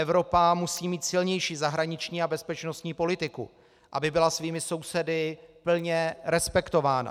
Evropa musí mít silnější zahraniční a bezpečnostní politiku, aby byla svými sousedy plně respektována.